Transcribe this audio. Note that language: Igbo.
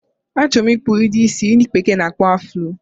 A choro m ikpu udi isi ndi bekee n akpo afulo